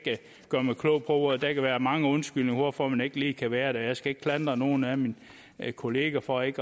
gøre mig klog på det der kan være mange undskyldninger for at man ikke lige kan være her jeg skal ikke klandre nogen af mine kolleger for ikke